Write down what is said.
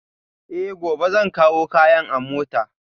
Eh, gobe zan kawo kayan a mota